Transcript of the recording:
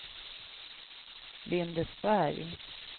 Lindesberg